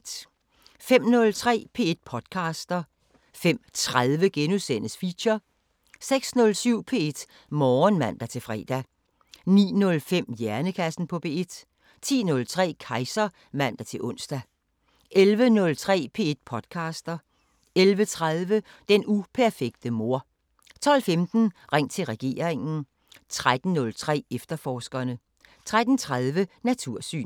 05:03: P1 podcaster 05:30: Feature * 06:07: P1 Morgen (man-fre) 09:05: Hjernekassen på P1 10:03: Kejser (man-ons) 11:03: P1 podcaster 11:30: Den uperfekte mor 12:15: Ring til regeringen 13:03: Efterforskerne 13:30: Natursyn